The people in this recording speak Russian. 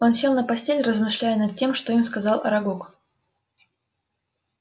он сел на постель размышляя над тем что им рассказал арагог